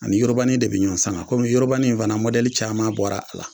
Ani yorobani de bi ɲɔɔn saŋa komi yorobani in fana mɔdɛli caman bɔra a la.